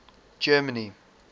germany